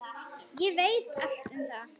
Ég veit allt um það.